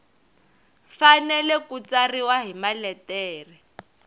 fanele ku tsariwa hi maletere